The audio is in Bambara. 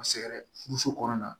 Sɛgɛrɛ furuso kɔnɔna